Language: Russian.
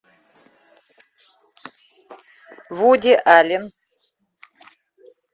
вуди аллен